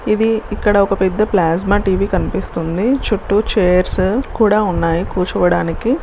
ఇధి ఇక్కడ ఒక పెద్ద ప్లాస్మా టి వీ కనిపిస్తుంది. చుట్టూ చైర్స్ కూడా ఉన్నాయి కూర్చోడానికి.